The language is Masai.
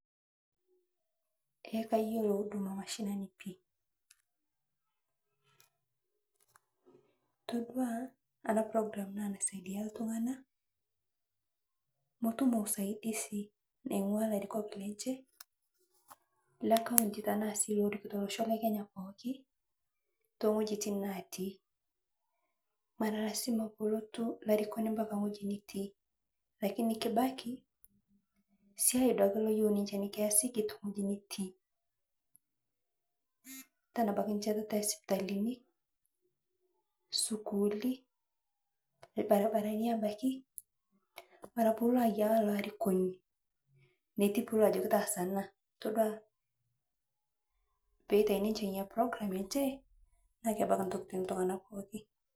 Ee kayiolo huduma mashinani pii, todua ana (cs program cs) naa naisaidia ltung'ana motumo usaidisi naingwaa larikok lenje le (cs kaunti cs)tanaa sii lorikito locho lekenya pooki, tong'ojitin natii mara lasima polotu larikoni mbaka ng'oji nitii kake kibaki siai duake loyiu ninje nikiasiki to ng'oji nitii ,tanaa abaki nshetata ee sipitalini, skulli, lbaribarani abaki mara payie ilo ayia loarikoni payie ilo ajoki taasa ana, todua payie etai ninje nyia (cs program enje naa kebaki ntokitin ltung'na pooki.